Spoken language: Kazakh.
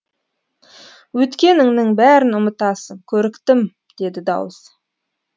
өткеніңнің бәрін ұмытасың көріктім деді дауыс